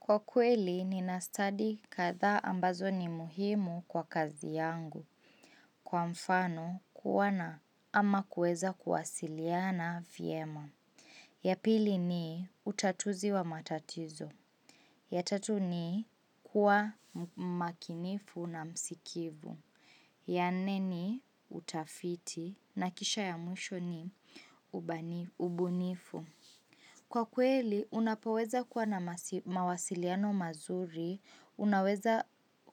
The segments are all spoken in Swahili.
Kwa kweli, ninastadi kadhaa ambazo ni muhimu kwa kazi yangu. Kwa mfano, kuwa na ama kuweza kuwasiliana vyema. Ya pili ni, utatuzi wa matatizo. Ya tatu ni, kuwa makinifu na msikivu. Ya nne, utafiti na kisha ya mwisho ni, ubunifu. Kwa kweli, unapoweza kuwa na mawasiliano mazuri, unaweza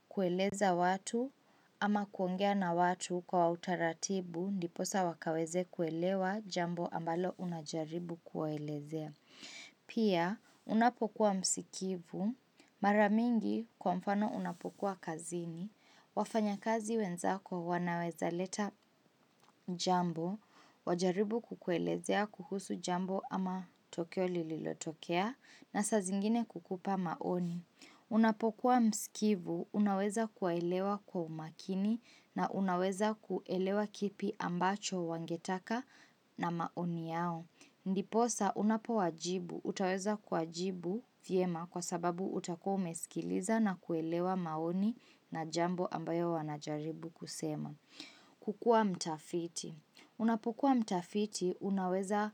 kueleza watu ama kuongea na watu kwa utaratibu, ndiposa wakaweze kuelewa jambo ambalo unajaribu kuwaelezea. Pia, unapokuwa msikivu, mara mingi kwa mfano unapokuwa kazini, wafanyakazi wenzako wanaweza leta jambo, wajaribu kukuelezea kuhusu jambo ama tukio lilotokea, na saa zingine kukupa maoni. Unapokuwa msikivu, unaweza kuwaelewa kwa umakini na unaweza kuelewa kipi ambacho wangetaka na maoni yao. Ndiposa unapo wajibu, utaweza kuwajibu vyema kwa sababu utakuwa umeskiliza na kuelewa maoni na jambo ambayo wanajaribu kusema. Kukua mtafiti. Unapokua mtafiti, unaweza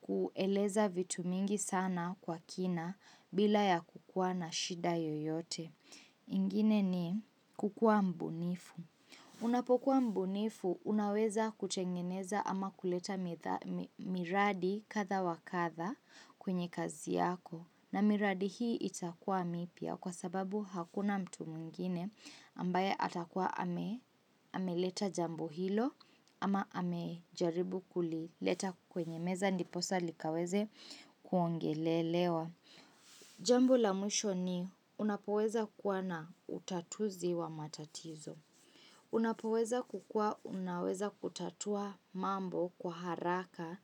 kueleza vitu mingi sana kwa kina bila yakukua na shida yoyote. Ingine ni kukua mbunifu. Unapokuwa mbunifu, unaweza kutengeneza ama kuleta miradi kadhaa wa kadhaa kwenye kazi yako. Na miradi hii itakuwa mipya kwa sababu hakuna mtu mwingine ambaye atakuwa ameleta jambo hilo ama amejaribu kulileta kwenye meza ndiposa likaweze kuongelelewa. Jambo la mwisho ni unapoweza kuwa na utatuzi wa matatizo. Unapoweza kukua, unaweza kutatua mambo kwa haraka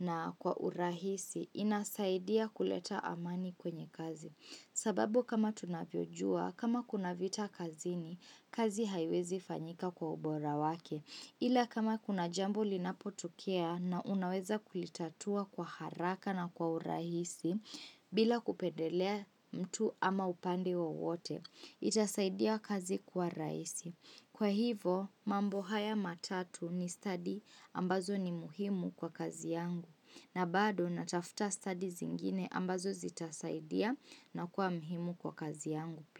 na kwa urahisi inasaidia kuleta amani kwenye kazi. Sababu kama tunavyojua, kama kuna vita kazini, kazi haiwezi fanyika kwa ubora wake. Ila kama kuna jambo linapotokea na unaweza kulitatua kwa haraka na kwa urahisi bila kupendelea mtu ama upande wowote, itasaidia kazi kuwa rahisi. Kwa hivo mambo haya matatu ni study ambazo ni muhimu kwa kazi yangu na bado natafuta stadi zingine ambazo zitasaidia na kuwa muhimu kwa kazi yangu.